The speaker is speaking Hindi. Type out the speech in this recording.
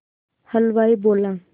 हलवाई बोला